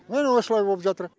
міні осылай боп жатыр